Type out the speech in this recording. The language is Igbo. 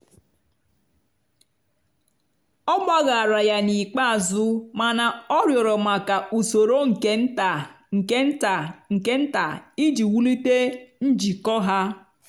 ọ gbaghaara ya n'ikpeazụ mana ọ rịọrọ maka usoro nke nta nke nta nke nta iji wulite njikọ ha.